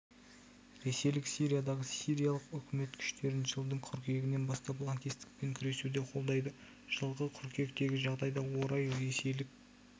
ресейлік сириядағы сириялық үкімет күштерін жылдың қыркүйегінен бастап лаңкестікпен күресуде қолдайды жылғы қыркүйектегі жағдайға орай ресейлік